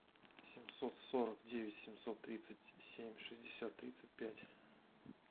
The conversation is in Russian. семьсот сорок девять семьсот тридцать семь шестьдесят тридцать пять